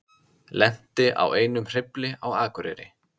Lenti á einum hreyfli á Akureyri